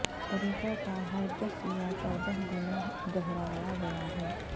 طریقہ کار ہر دس یا چودہ دنوں دہرایا گیا ہے